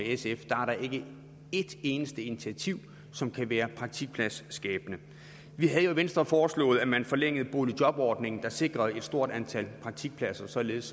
sf er der ikke et eneste initiativ som kan være praktikpladsskabende vi havde jo i venstre foreslået at man forlængede boligjobordningen som sikrede et stort antal praktikpladser således